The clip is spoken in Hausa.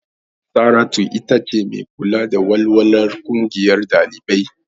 Saratu itace mai kula da walwalar ƙungiyar ɗalibai.